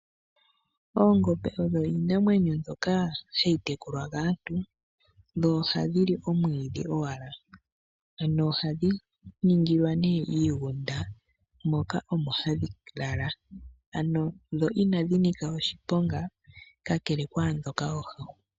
Oongombe odho iinamwenyo mbyoka hayi munwa kaantu dho ohadhi li omwiidhi owala. Ano ohadhi ningilwa nee iigunda moka omo hadhi lala. Ano dho inadhi nika oshiponga kakele kwaandhoka oohahu.